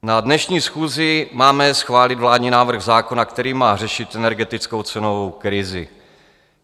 Na dnešní schůzi máme schválit vládní návrh zákona, který má řešit energetickou cenovou krizi.